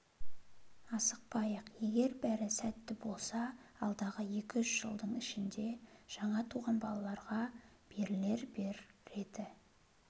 асықпайық егер бәрі сәтті болса алдағы екі-үш жылдың ішінде жаңа туған балаларға берілер бір ретті